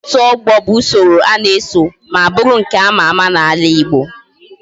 Otu ogbo bu usoro ana eso ma buru nke ama ama na ala igbo